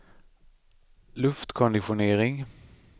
luftkonditionering